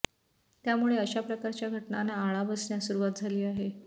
त्यामुळे अशा प्रकारच्या घटनांना आळा बसण्यास सुरुवात झाली आहे